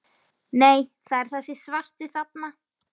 Nei, það er þessi svarti þarna!